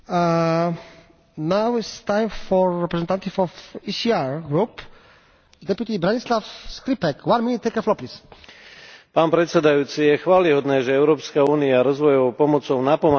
Je chvályhodné, že Európska únia rozvojovou pomocou napomáha riešenie ťažkých problémov krajín tretieho sveta, no spolu s tou pomocou je zvrchovaným štátom stále agresívnejšie vnucovaná genderová ideológia a kultúra smrti.